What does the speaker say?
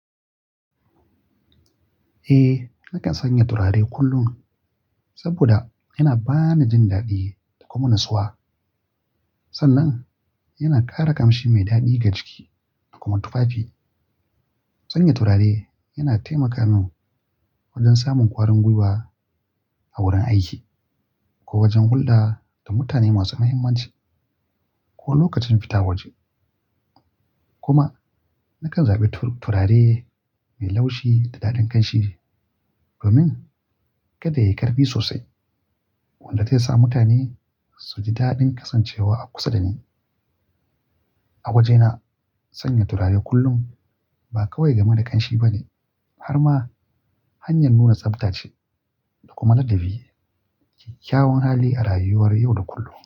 Eh, nakan sanya turare kullum saboda yana bani jin daɗi da kuma natsuwa. Sannan yana ƙara kamshi mai daɗi ga jiki da kuma tufafi. Sanya turare yana taimaka min wajen samun ƙwarin gwiwa a wurin aiki ko wajen hulɗa da mutane masu mahimmanci ko lokacin fita waje. Kuma nakan zaɓi turare mai laushi da daɗin kamshi domin kada yayi ƙarfi sosai wanda zai sa mutane su ji daɗin kasancewa a kusa da ni. A wajena, sanya turare kullum ba kawai game da kamshi ba ne har ma hanyar nuna tsafta ce da kuma ladabi, ƙyaƙƙyawan hali a rayuwar yau da kullum.